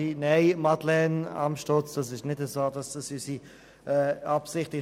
Nein, Madeleine Amstutz, es trifft nicht zu, dass dies unsere Absicht ist.